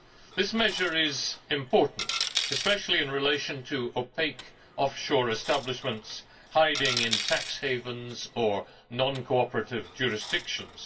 this measure is important especially in relation to opaque offshore establishments hiding in tax havens or non cooperative jurisdictions.